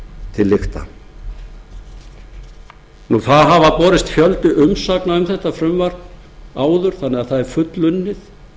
til lykta það hefur borist fjöldi umsagna um þetta frumvarp áður þannig að það er fullunnið